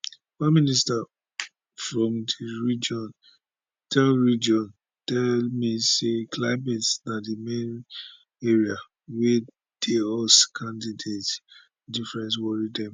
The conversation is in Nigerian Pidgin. one minister from di region tell region tell me say climate na di main area wia di us candidates differences worry dem